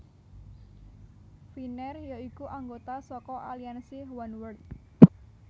Finnair ya iku anggota saka aliansi Oneworld